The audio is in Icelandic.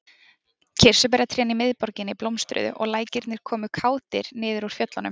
Kirsuberjatrén í miðborginni blómstruðu og lækirnir komu kátir niður úr fjöllunum.